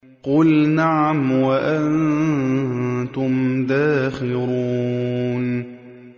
قُلْ نَعَمْ وَأَنتُمْ دَاخِرُونَ